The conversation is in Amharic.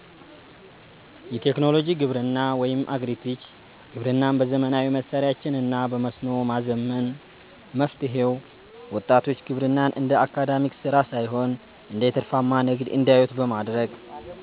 1. የቴክኖሎጂ ግብርና (Agri-Tech) ግብርናን በዘመናዊ መሣሪያዎችና በመስኖ ማዘመን። መፍትሔው፦ ወጣቶች ግብርናን እንደ አድካሚ ሥራ ሳይሆን እንደ ትርፋማ ንግድ እንዲያዩት በማድረግ፣